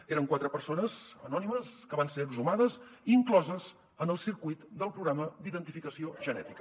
eren quatre persones anònimes que van ser exhumades i incloses en el circuit del programa d’identificació genètica